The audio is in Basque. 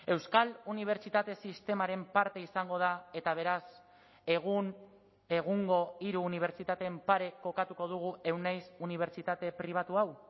euskal unibertsitate sistemaren parte izango da eta beraz egun egungo hiru unibertsitateen pare kokatuko dugu euneiz unibertsitate pribatu hau